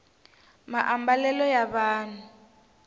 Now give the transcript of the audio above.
maambalelo ya vanhu